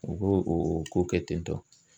U bo o ko kɛ tentɔ.